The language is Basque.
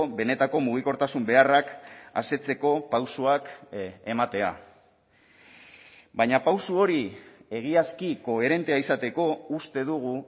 benetako mugikortasun beharrak asetzeko pausoak ematea baina pauso hori egiazki koherentea izateko uste dugu